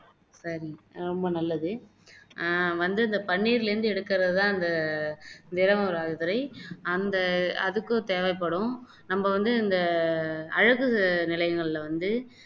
சரி ரொம்ப நல்லது ஆஹ் வந்து இந்த பன்னீர்ல இருந்து எடுக்குறது தான் இந்த திரவம் மாதிரி அந்த அதுக்கும் தேவைப்படும் நம்ம வந்து இந்த அழகு நிலையங்களில வந்து